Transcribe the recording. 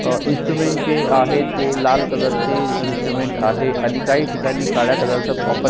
अ instrument जे आहेत ते लाल कलर चे इन्स्ट्रुमेंट आहे आणि काही ठिकाणी काळ्या कलर चा वापर--